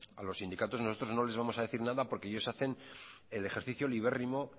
a los sindicatos nosotros no les vamos a decir nada porque ellos hacen el ejercicio libérrimo